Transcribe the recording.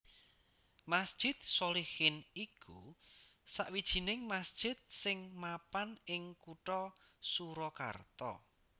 Masjid Sholihin iku sawijining masjid sing mapan ing Kutha Surakarta